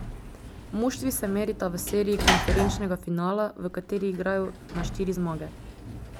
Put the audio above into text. Moštvi se merita v seriji konferenčnega finala, v kateri igrajo na štiri zmage.